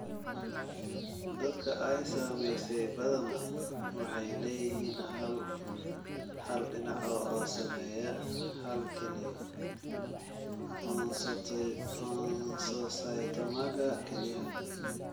Dadka ay saameysay badanaa waxay leeyihiin hal, hal dhinac (oo saameeya hal kelyo) oncocytomaga kelyaha.